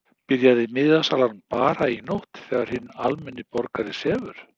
Byrjaði miðasalan bara í nótt þegar hinn almenni borgari sefur?